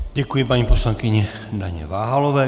Děkuji paní poslankyni Daně Váhalové.